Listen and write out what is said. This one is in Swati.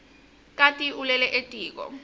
kati ulele etiko